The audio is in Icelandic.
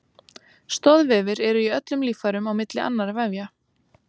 Stoðvefir eru í öllum líffærum á milli annarra vefja.